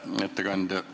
Hea ettekandja!